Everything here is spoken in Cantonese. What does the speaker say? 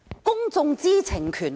公眾知情權何在？